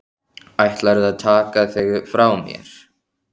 Ætlarðu að taka þig frá mér?